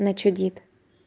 начудит